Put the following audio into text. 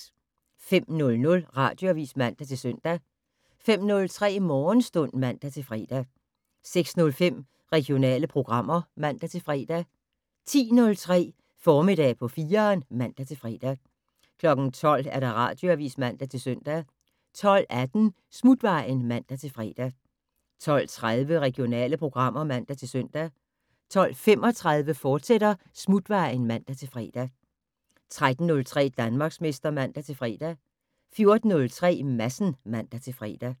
05:00: Radioavis (man-søn) 05:03: Morgenstund (man-fre) 06:05: Regionale programmer (man-fre) 10:03: Formiddag på 4'eren (man-fre) 12:00: Radioavis (man-søn) 12:18: Smutvejen (man-fre) 12:30: Regionale programmer (man-søn) 12:35: Smutvejen, fortsat (man-fre) 13:03: Danmarksmester (man-fre) 14:03: Madsen (man-fre)